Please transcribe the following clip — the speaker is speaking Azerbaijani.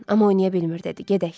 Dorian, oynaya bilmir dedi, gedək.